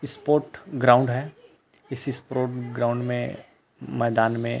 sport ground है इस sport ground में मैदान में --